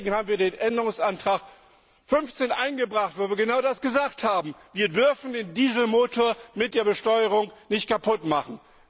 Deswegen haben wir Änderungsantrag 15 eingebracht, weil wir genau das gesagt haben. Wir dürfen den Dieselmotor mit der Besteuerung nicht kaputt machen.